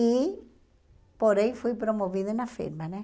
E, porém, fui promovida na firma, né?